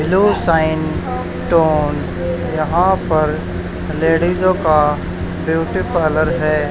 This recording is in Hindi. ग्लो शाइन टोन यहां पर लेडीजों का ब्यूटी पार्लर है।